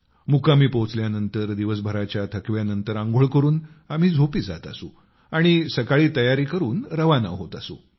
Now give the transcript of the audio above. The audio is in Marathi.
मुक्कामी पोहोचल्यानंतर दिवसभराच्या थकव्यानंतर आंघोळ करून आम्ही झोपी जात असू आणि सकाळी तयारी करून रवाना होत असू